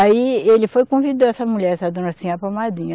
Aí ele foi convidar essa mulher, essa dona Sinhá para madrinha.